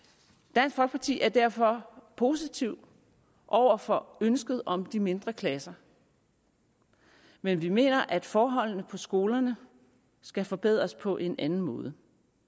dansk folkeparti er derfor positive over for ønsket om de mindre klasser men vi mener at forholdene på skolerne skal forbedres på en anden måde